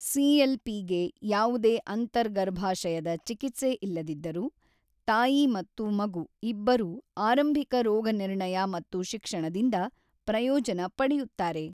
CLP ಗೆ ಯಾವುದೇ ಅಂತರ್ಗರ್ಭಾಶಯದ ಚಿಕಿತ್ಸೆ ಇಲ್ಲದಿದ್ದರೂ, ತಾಯಿ ಮತ್ತು ಮಗು ಇಬ್ಬರೂ ಆರಂಭಿಕ ರೋಗನಿರ್ಣಯ ಮತ್ತು ಶಿಕ್ಷಣದಿಂದ ಪ್ರಯೋಜನ ಪಡೆಯುತ್ತಾರೆ.